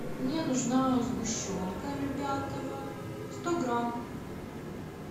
мне нужна сгущенка любятово сто грамм